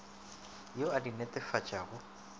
yo a di netefatšago a